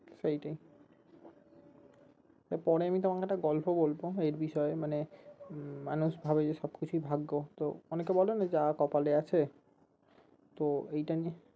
সেইটাই এর পরে তোমাকে আমি একটা গল্প বলবো এই বিষয়ে মানে মানুষ ভাবে যে সব কিছুই ভাগ্য তো অনেকে বলে না যা কপালে আছে তো এইটা নিয়ে